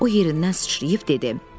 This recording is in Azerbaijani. O yerindən sıçrayıb dedi: